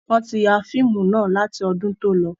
Wọn tí ya fíìmù náà láti ọdún tó lọ.